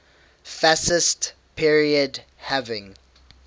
fascist period having